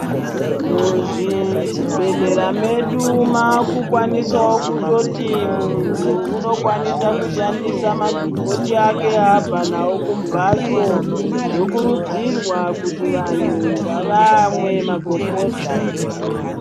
Muzvibhedhlera medu maakukwanosao kutoti munthu unokwanisao kushandisa magomboti ake aabva nao kumbatso zvinokurudzirwa kuti vanthu ngavamwe magomboti.